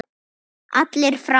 Allir fram!